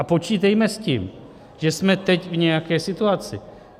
A počítejme s tím, že jsme teď v nějaké situaci.